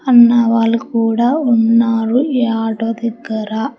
అన్నవాళ్లు కూడా ఉన్నారు ఈ ఆటో దేగ్గర.